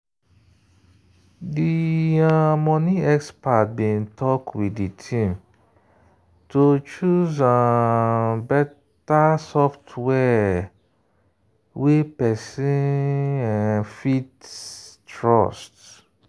the um money expert bin talk with the team to choose um better software wey person um fit trust.